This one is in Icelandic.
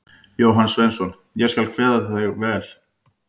Jóhann Sveinsson: Ég skal kveða við þig vel.